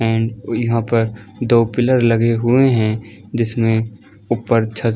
and यहाँ पर दो पिलर लगे हुए है जिसमे ऊपर छत --